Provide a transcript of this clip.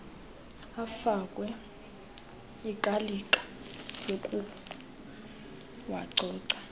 afakwe ikalika yokuwacoca